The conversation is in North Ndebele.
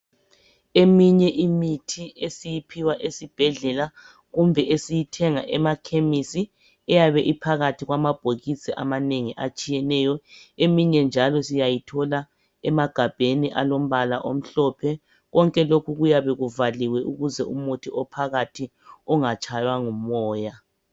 Eminye imithi esiyiphiwa esibhedlela kumbe esiyithenga emakhemesi iyabe iphakathi kwama bhokisi amanengi atshiyeneyo, eminye njalo siyayithola isemagabheni alombala omhlophe konke lokhu kuyabe kuvaliwe ukuze umuthi ophakathi ungatshaywa ngumoya.